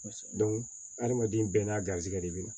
adamaden bɛɛ n'a garisɛgɛ de bɛ na